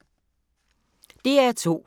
DR2